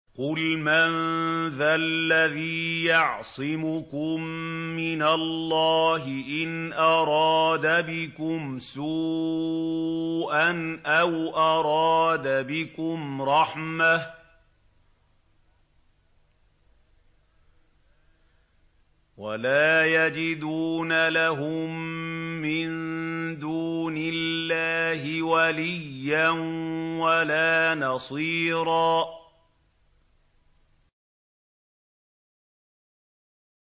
قُلْ مَن ذَا الَّذِي يَعْصِمُكُم مِّنَ اللَّهِ إِنْ أَرَادَ بِكُمْ سُوءًا أَوْ أَرَادَ بِكُمْ رَحْمَةً ۚ وَلَا يَجِدُونَ لَهُم مِّن دُونِ اللَّهِ وَلِيًّا وَلَا نَصِيرًا